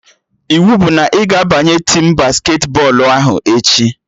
Iwu bụ na ị ga-abanye tim basketi bọọlụ ahụ echi!